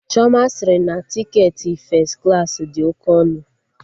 Chioma sịrị na tiketi fes klaasị dị oke ọnụ